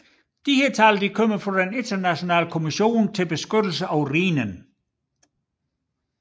Disse tal kommer fra den Internationale Kommission for beskyttelse af Rhinen